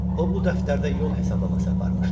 O bu dəftərdə yol hesablaması aparmışdı.